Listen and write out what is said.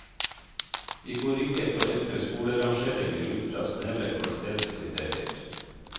Vi går ikke for enkle skolerangeringer ut fra snevre kvalitetskriterier.